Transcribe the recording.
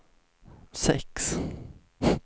sex